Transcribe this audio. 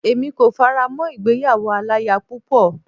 Èmi kò fara mọ́ ìgbéyàwó aláya púpọ̀.